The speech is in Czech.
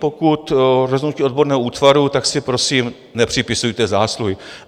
Pokud rozhodnutí odborného útvaru, tak si prosím nepřipisujte zásluhy.